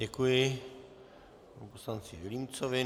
Děkuji panu poslanci Vilímcovi.